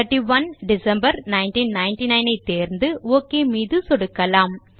31 Dec 1999 ஐ தேர்ந்து OK மீது சொடுக்கலாம்